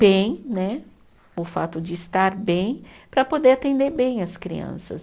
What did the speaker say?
bem né, o fato de estar bem, para poder atender bem as crianças.